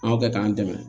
An kɛ k'an dɛmɛ